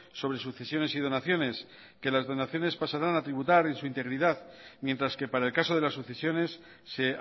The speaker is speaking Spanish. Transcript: sobre sucesiones y donaciones que las donaciones pasarán a tributar en su integridad mientras que para el caso de las sucesiones se